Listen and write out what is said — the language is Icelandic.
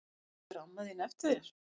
Bíður amma þín eftir þér?